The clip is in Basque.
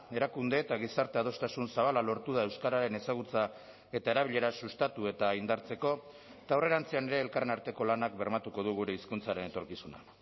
erakunde eta gizarte adostasun zabala lortu da euskararen ezagutza eta erabilera sustatu eta indartzeko eta aurrerantzean ere elkarren arteko lanak bermatuko du gure hizkuntzaren etorkizuna